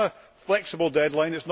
It is not a flexible deadline